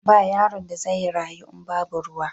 Ba yaron da zai rayu in babu ruwa.